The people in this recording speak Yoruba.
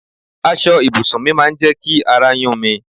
Aṣọ ibùsùn mi máa ń jẹ ki àrà yun mí